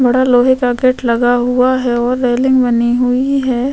बड़ा लोहे का गेट लगा हुआ है और रैलिंग बनी हुई है।